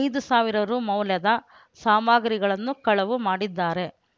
ಐದು ಸಾವಿರ ರೂ ಮೌಲ್ಯದ ಸಾಮಗ್ರಿಗಳನ್ನು ಕಳವು ಮಾಡಿದ್ದಾರೆ